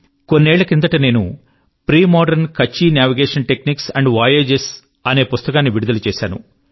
కొన్నేళ్ళ క్రిందట నేను premodern Kutchi Kachchhi navigation techniques and voyages అనే పుస్తకాన్ని విడుదల చేశాను